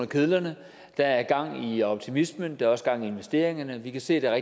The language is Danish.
kedlerne der er gang i optimismen der er også gang i investeringerne vi kan se at der er